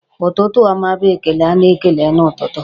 Ụtụtụ ọma bụ ekele a na-ekele n'ụtụtụ.